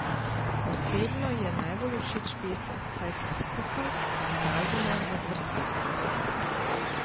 Osebno ji je najbolj všeč pesem Saj sva skupaj z albuma Med vrsticami.